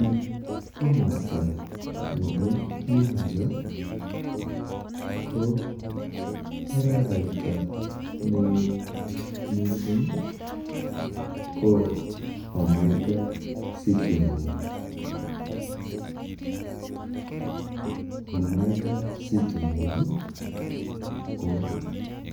Eng komosta nepo Nyanza ko araraita neo mising ko Omega city mall. Omega city mall, ko